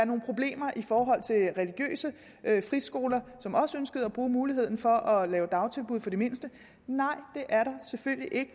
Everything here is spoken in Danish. nogle problemer i forhold til religiøse friskoler som også ønskede at bruge muligheden for at lave dagtilbud for de mindste nej det er der selvfølgelig ikke